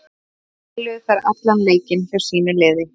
Báðar spiluðu þær allan leikinn hjá sínu liði.